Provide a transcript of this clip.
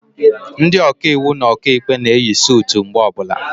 Ndị Ọkaiwu na Ọkaikpe na eyi sutu mgbe ọbụla